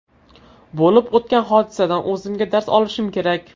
Bo‘lib o‘tgan hodisadan o‘zimga dars olishim kerak.